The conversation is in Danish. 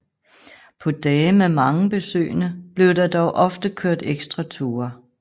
På dage med mange besøgende blev der dog ofte kørt ekstra ture